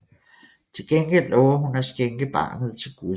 Til gengæld lover hun at skænke barnet til Gud